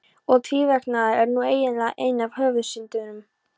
Og tvíverknaður er nú eiginlega ein af höfuðsyndunum.